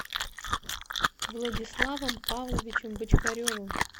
владиславом павловичем бочкаревым